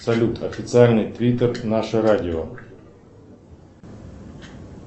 салют официальный твиттер наше радио